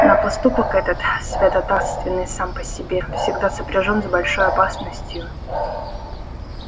но поступок этот святотатственный сам по себе всегда сопряжён с большой опасностью